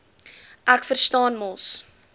ek verstaan mos